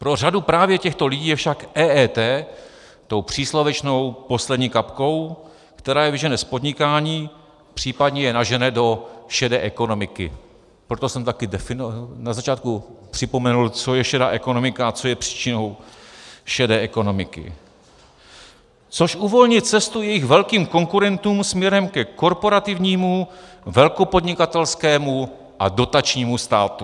Pro řadu právě těchto lidí je však EET tou příslovečnou poslední kapkou, která je vyžene z podnikání, případně je nažene do šedé ekonomiky - proto jsem taky na začátku připomenul, co je šedá ekonomika a co je příčinou šedé ekonomiky -, což uvolní cestu jejich velkým konkurentům směrem ke korporativnímu, velkopodnikatelskému a dotačnímu státu.